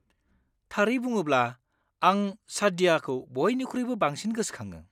थारै बुङोब्ला, आं सादयाखौ बयनिख्रुइबो बांसिन गोसोखाङो।